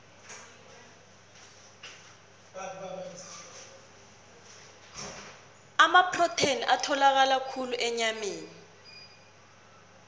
amaprotheni atholakala khulu enyameni